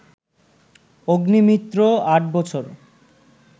অগ্নিমিত্র আট বছর